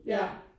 Ja